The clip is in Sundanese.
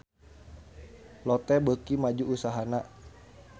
Lotte beuki maju usahana